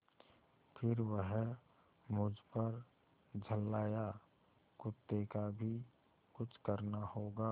फिर वह मुझ पर झल्लाया कुत्ते का भी कुछ करना होगा